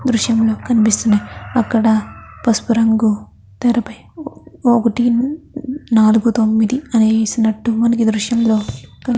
దృశ్యంలో కనిపిస్తూ ఉన్నాయి. అక్కడ పసుపు రంగు తెరపై ఒకటి నాలుగు తొమిది అని వేసినట్టు మనకి ఈ దృశ్యంలో కనిపి --